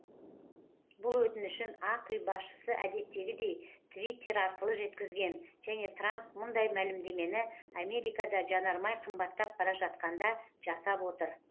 бұл өтінішін ақ үй басшысы әдеттегідей твиттер арқылы жеткізген және трамп мұндай мәлімдемені америкада жанармай қымбаттап бара жатқанда жасап отыр